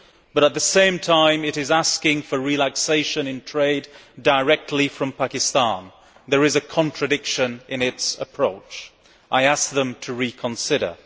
But at the same time, it is asking for relaxation in trade directly from Pakistan. There is a contradiction in its approach. I ask them to reconsider.